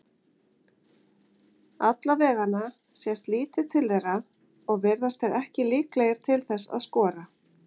Allavegana sést lítið til þeirra og virðast þeir ekki líklegir til þess að skora.